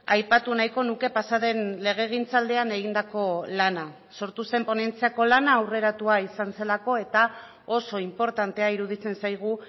aipatu nahiko nuke pasaden legegintzaldian egindako lana sortu zen ponentziako lana aurreratua izan zelako eta oso inportantea iruditzen zaigu